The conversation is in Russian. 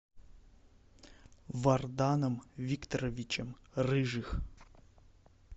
варданом викторовичем рыжих